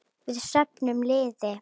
Við söfnum liði.